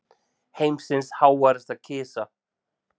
Heimsins háværasta kisa